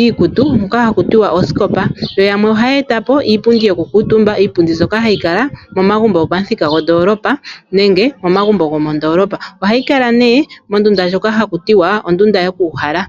iikutu moka haku tiwa osikopa. Yo yamwe ohaya eta po iipundi yoku kuutumba. Iipundi mbyoka hayi kala momagumbo ngoka go po muthika gwo ndoolopa nenge momagumbo go mo ndoolopa. Ohayi nee mondunda ndjoka haku tiwa ondunda yoku uhala.